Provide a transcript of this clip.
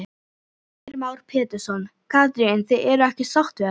Heimir Már Pétursson: Katrín, þið eruð ekki sátt við þetta?